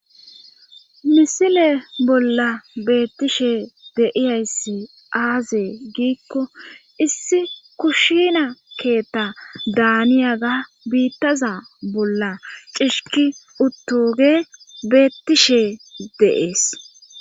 misile bolla beettishe deiyayssi aazee giikko issi kushina keetta daaniyaga biittaza bolla cishiki uttoge beettishe deees